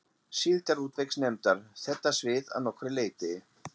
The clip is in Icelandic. Síldarútvegsnefndar, þetta svið að nokkru leyti.